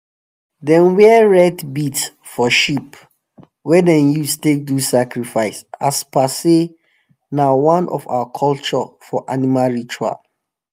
them wear red bead for sheep wey them use take do sacrifice as per say na one of our culture for animal ritual.